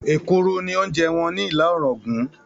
Èkuru ni oúnjẹ wọn ni Ìlá-òràngún